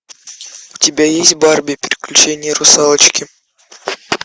у тебя есть барби приключения русалочки